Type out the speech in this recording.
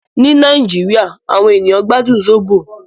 Ní Nàìjíríà, àwọn ènìyàn gbádùn Zobo.